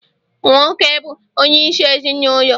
Nwoke bụ onye isi ezinụlọ